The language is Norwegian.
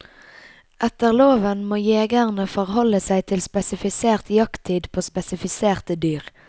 Etter loven må jegerne forholde seg til spesifisert jakttid på spesifiserte dyr.